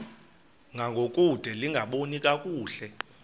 ngangokude lingaboni kakuhle